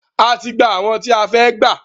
A ti gbà àwọn tí a fẹ́ gbà.